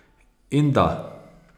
In da ...